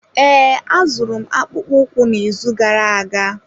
Ee, azụrụ m akpụkpọ ụkwụ n'izu gara aga.